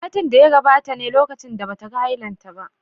Satin da ya gabata ne lokacin da bata ganin hailanta ba